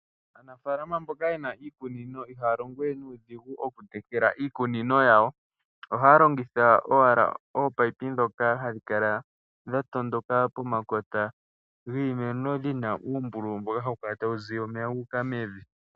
Aanafalama mboka ye na iikunino ihaya longo we nuudhigu okutekela iikunino yawo, ohaya longitha owala ominino ndhoka hadhi kala dha tondoka pomakota giimeno dhi na uumbululu mboka hawu kala tawu ziya omeya guuka mevi.